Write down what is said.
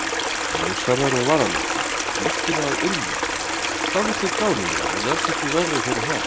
Ljóshærðar og varalitaðar og lyktuðu af ilmvatni, dálítið gálulegar en alls ekki verri fyrir það.